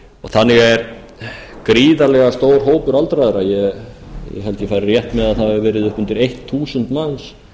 þannig er gríðarlega stór hópur aldraðra ég held ég fari rétt með að það hafi verið upp undir eitt þúsund manns